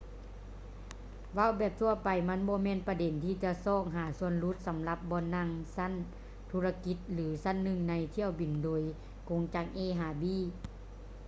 ເວົ້າແບບທົ່ວໄປ ມັນບໍ່ແມ່ນປະເດັນທີ່ຈະຊອກຫາສ່ວນຫຼຸດສຳລັບບ່ອນນັ່ງຊັ້ນທຸລະກິດ ຫຼື ຊັ້ນໜຶ່ງໃນຖ້ຽວບິນໂດຍກົງຈາກ a ຫາ b